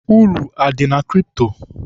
Uru adị na kripto?